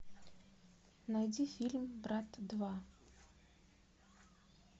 найди фильм брат два